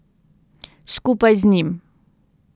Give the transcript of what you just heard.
Skupaj z njim.